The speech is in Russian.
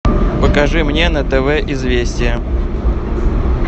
покажи мне на тв известия